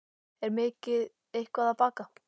Er ég mikið eitthvað að baka?